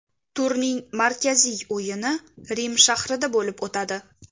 Turning markaziy o‘yini Rim shahrida bo‘lib o‘tadi.